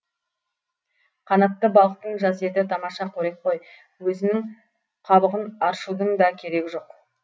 қанатты балықтың жас еті тамаша қорек қой өзінің қабығын аршудың да керегі жоқ